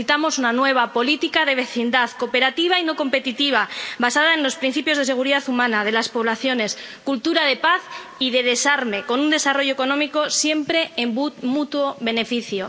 Necesitamos una nueva política de vecindad, cooperativa y no competitiva, basada en los principios de seguridad humana, de las poblaciones, cultura de paz y desarme, con un desarrollo económico siempre en mutuo beneficio.